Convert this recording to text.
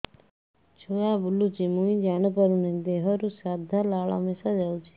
ଛୁଆ ବୁଲୁଚି ମୁଇ ଜାଣିପାରୁନି ଦେହରୁ ସାଧା ଲାଳ ମିଶା ଯାଉଚି